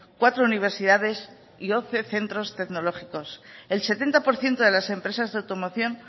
cuatro universidades y once centros tecnológicos el setenta por ciento de las empresas de automoción